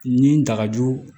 Ni n dagajo